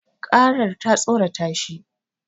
Karar ta tsorata shi